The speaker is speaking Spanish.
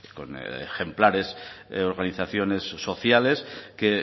con ejemplares organizaciones sociales que